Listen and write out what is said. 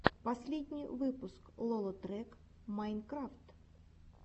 последний выпуск лолотрек майнкрафт